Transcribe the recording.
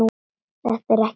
Þetta er ekkert grín, Ragga.